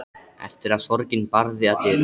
Eftir að sorgin barði að dyrum.